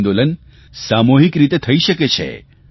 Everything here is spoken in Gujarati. આ આંદોલન સામૂહિક રીતે થઇ શકે છે